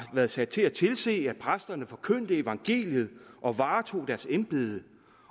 været sat til at tilse præsterne forkyndte evangeliet og varetog deres embede